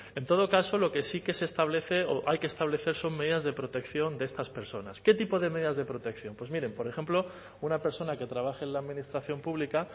en todo caso lo que sí que se establece o hay que establecer son medidas de protección de estas personas qué tipo de medidas de protección pues miren por ejemplo una persona que trabaje en la administración pública